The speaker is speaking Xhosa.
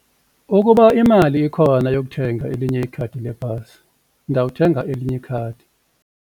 Ukuba imali ikhona yokuthenga elinye ikhadi lebhasi ndawuthenga elinye ikhadi.